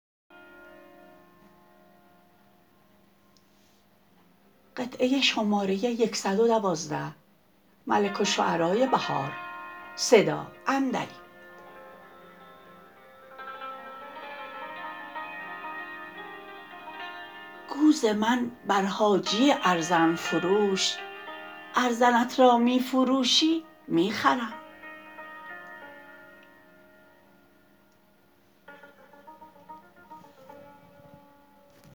گو ز من بر حاجی ارزن فروش ارزنت را می فروشی می خرم